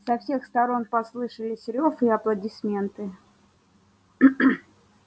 со всех сторон послышались рёв и аплодисменты